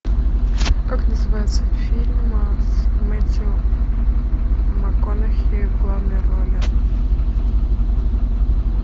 как называется фильм с мэттью макконахи в главной роли